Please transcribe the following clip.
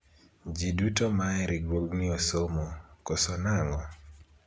jii duto ma e riwruogni osomo ,koso nang'o ?